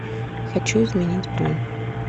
хочу изменить бронь